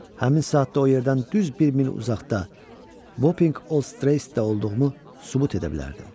Həmin saatda o yerdən düz bir mil uzaqda Vopinq Old Streestdə olduğumu sübut edə bilərdim.